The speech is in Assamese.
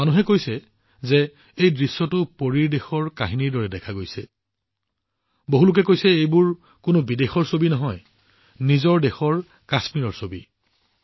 মানুহে এই দৃশ্যটো এটা পৰী কাহিনীৰ দৰে দেখা গৈছে বুলি কৈছে বহুলোকে কৈছে যে এইবোৰ কোনো বিদেশৰ ছবি নহয় আমাৰ নিজৰ দেশৰ কাশ্মীৰৰ ছবি